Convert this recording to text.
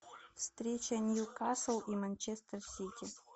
встреча ньюкасл и манчестер сити